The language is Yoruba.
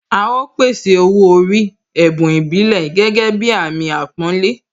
A ó pèsè Owó orí, ẹ̀bùn ìbílẹ̀ gẹ́gẹ́ bí Àmín àpọ́nlé